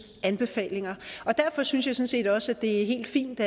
anbefalinger og derfor synes jeg sådan set også det er helt fint